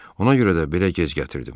Ona görə də belə gec gətirdim.